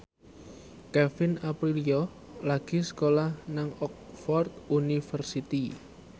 Kevin Aprilio lagi sekolah nang Oxford university